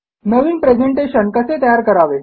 नवीन presentation कसे तयार करावे